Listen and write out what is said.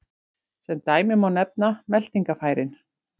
Sem dæmi má nefna meltingarfærin.